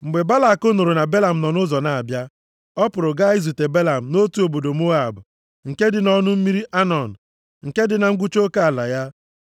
Mgbe Balak nụrụ na Belam nọ nʼụzọ na-abịa, ọ pụrụ gaa izute Belam nʼotu obodo Moab nke dị nʼọnụ mmiri Anọn, nke dị na ngwụcha oke ala ya.